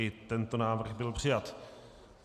I tento návrh byl přijat.